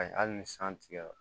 Ayi hali ni san tigɛra